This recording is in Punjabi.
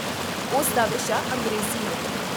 ਉਸ ਦਾ ਵਿਸ਼ਾ ਅੰਗਰੇਜ਼ੀ ਹੈ